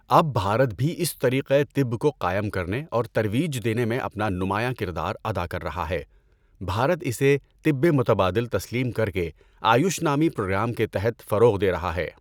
اب بھارت بھی اس طریقۂ طب کو قائم کرنے اور ترویج دینے میں اپنا نمایاں کردار ادا کر رہا ہے۔ بھارت اسے طبِ متبادل تسلیم کر کے آیُش نامی پروگرام کے تحت فروغ دے رہا ہے۔